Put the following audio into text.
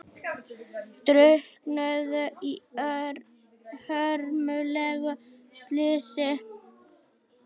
Drukknuðu í hörmulegu slysi